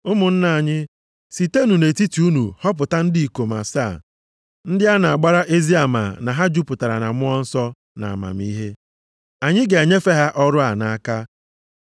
Ụmụnna anyị, sitenụ nʼetiti unu họpụta ndị ikom asaa ndị a na-agbara ezi ama na ha jupụtara na Mmụọ Nsọ na amamihe. Anyị ga-enyefe ha ọrụ a nʼaka.